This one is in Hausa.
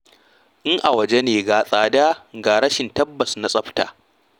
In a waje ne, ga tsada ga rashin tabbas na tsafta.